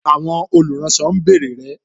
Àwọn olùránsọ ń bèrè rẹ